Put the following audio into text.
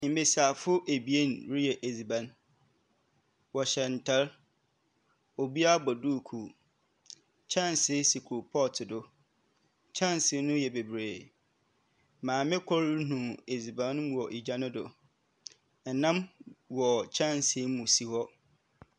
Mbesiafo ebien reyɛ edziban. Wɔhyɛ ntar. Obiara bɔ duukuu. Kyɛnse si koropɔɔto do. Kyɛnse no yɛ bebree. Maame kor renu edziban no mu wɔ egya no do. Nnam wɔ kyɛnse mu si hɔ.